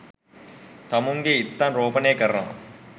තමුන්ගේ ඉත්තන් රෝපණය කරනවා